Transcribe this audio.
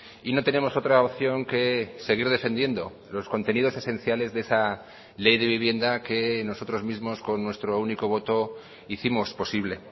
y no tenemos otra opción que seguir defendiendo los contenidos esenciales de esa ley de vivienda que nosotros mismos con nuestro único voto hicimos posible